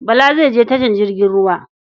Bala zai je tashar jirgin ruwa.